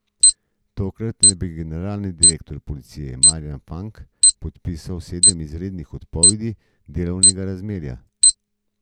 Tokrat naj bi generalni direktor policije Marjan Fank podpisal sedem izrednih odpovedi delovnega razmerja.